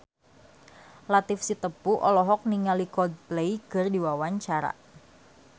Latief Sitepu olohok ningali Coldplay keur diwawancara